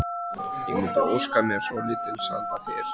Ég mundi óska mér svolítils handa þér!